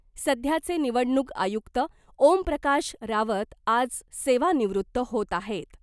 सध्याचे निवडणूक आयुक्त ओमप्रकाश रावत आज सेवानिवृत्त होत आहेत .